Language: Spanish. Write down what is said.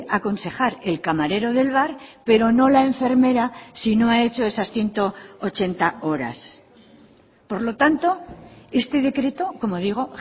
aconsejar el camarero del bar pero no la enfermera si no ha hecho esas ciento ochenta horas por lo tanto este decreto como digo